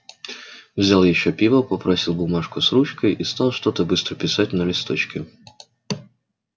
взял ещё пива попросил бумажку с ручкой и стал что-то быстро писать на листочке